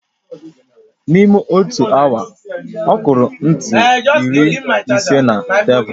N'ime otu awa, ọ kụrụ ntu iri ise na tebụl